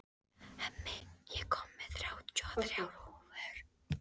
Hemmi, ég kom með þrjátíu og þrjár húfur!